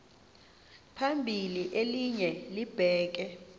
phambili elinye libheke